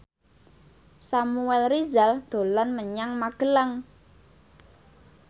Samuel Rizal dolan menyang Magelang